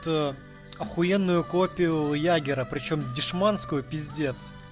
т ахуенную копию ягера причём дешманскую пиздец